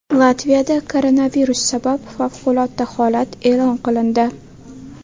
Latviyada koronavirus sabab favqulodda holat e’lon qilindi.